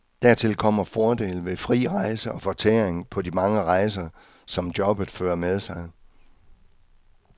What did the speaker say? Dertil kommer fordele ved fri rejse og fortæring på de mange rejser, som jobbet fører med sig.